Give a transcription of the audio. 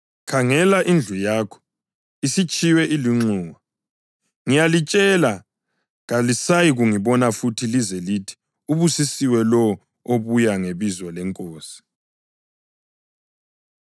Khangela, indlu yakho isitshiywe ilunxiwa. Ngiyalitshela, kalisayikungibona futhi lize lithi, ‘Ubusisiwe lowo obuya ngebizo leNkosi.’ + 13.35 AmaHubo 118.26 ”